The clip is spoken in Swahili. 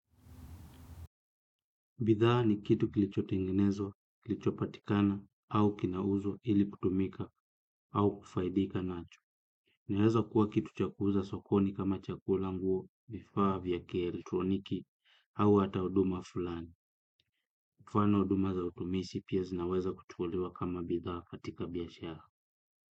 Bidhaa ni kitu kilicho tengenezwa, kilicho patikana, au kinauzwa ili kutumika, au kufaidika nacho. Inaweza kuwa kitu cha kuuza sokoni kama chakula, nguo, vifaa vya kielektroniki, au hata huduma fulani. Kwa mfano huduma za utumisi pia zinaweza kutuolewa kama bidhaa katika biashara.